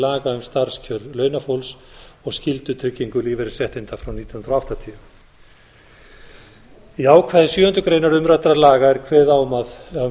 um starfskjör launafólks og skyldutryggingu lífeyrisréttinda frá nítján hundruð áttatíu í ákvæði sjöundu greinar umræddra laga er kveðið á um